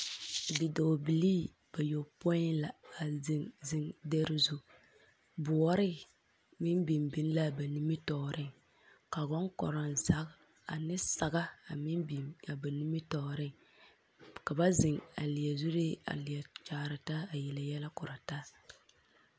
Bidɔɔbilii bayopoi la a zeŋ zeŋ dɛre zu, boɔre meŋ biŋ biŋ la ba nimitɔɔreŋ, ka bonkoronzage ane saga a meŋ biŋ a ba nimitɔɔreŋ, ka ba zeŋ a leɛ zuree a leɛ kyaare taa a yele yɛlɛ kora taa. 13388